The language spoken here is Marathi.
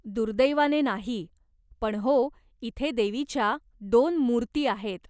दुर्दैवाने नाही, पण हो, इथे देवीच्या दोन मूर्ती आहेत.